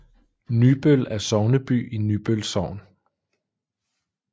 Nybøl er sogneby i Nybøl Sogn